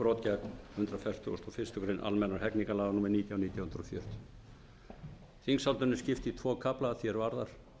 brot gegn hundrað fertugasta og fyrstu grein almennra hegningarlaga númer nítján nítján hundruð fjörutíu þingsályktuninni er skipt í tvo kafla að því er varðar